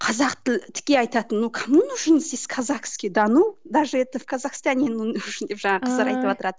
қазақ тіл тіке айтатын ну кому нужен здесь казахский да ну даже это в казахстане он не нужен деп жаңағы қыздар айтып отырады